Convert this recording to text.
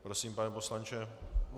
Prosím, pane poslanče.